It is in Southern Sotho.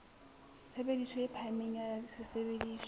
tshebediso e phahameng ya sesebediswa